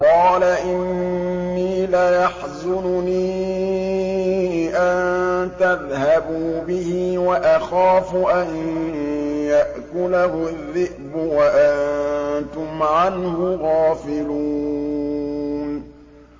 قَالَ إِنِّي لَيَحْزُنُنِي أَن تَذْهَبُوا بِهِ وَأَخَافُ أَن يَأْكُلَهُ الذِّئْبُ وَأَنتُمْ عَنْهُ غَافِلُونَ